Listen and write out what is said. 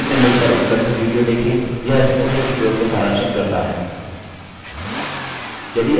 निम्न link पर उपलब्ध video देखें यह spoken tutorial को सारांशित करता है